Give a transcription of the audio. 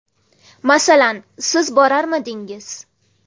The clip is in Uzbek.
Masalan, siz borarmidingiz?